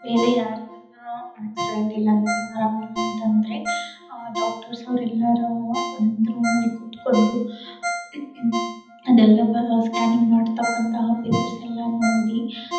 ಇವೆಲ್ಲ ಆಕ್ಸಿಡೆಂಟ್ ಇಲ್ಲಾಂದ್ರೆ ಆರಾಮ್ ಇಲ್ಲಾಂದ್ರೆ ಡಾಕ್ಟರ್ಸ್ ಅವರೆಲ್ಲರೂ ಒಂದ್ ರೂಮಲ್ಲಿ ಕುತ್ಕೊಂಡು ಅದೆಲ್ಲ ಸ್ಕ್ಯಾನಿಂಗ್ ಮಾಡ್ತಕ್ಕಂಥ ಪೇಪರ್ಸ್ ಎಲ್ಲಾ ನೋಡಿ --